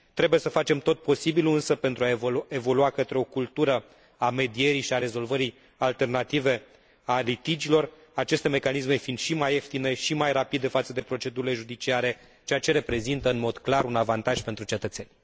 Trebuie să facem tot posibilul însă pentru a evolua către o cultură a medierii și a rezolvării alternative a litigiilor, aceste mecanisme fiind și mai ieftine și mai rapide față de procedurile judiciare, ceea ce reprezintă în mod clar un avantaj pentru cetățeni.